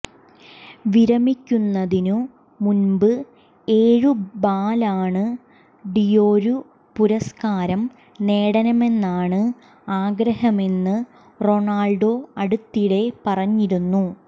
വിരമിക്കുന്നതിനു മുമ്പ് ഏഴു Ballon d'Or പുരസ്കാരം നേടണമെന്നാണ് ആഗ്രഹമെന്ന് റൊണാള്ഡോ അടുത്തിടെ പറഞ്ഞിരുന്നു